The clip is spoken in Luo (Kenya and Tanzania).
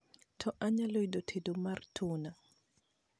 to anyalo yudo tedo mar tuna